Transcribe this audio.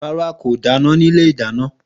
Ràrá, kó dàná ní ìlé ìdàná.